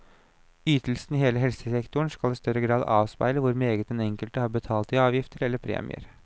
Ytelsene i hele helsesektoren skal i større grad avspeile hvor meget den enkelte har innbetalt i avgifter, eller premier.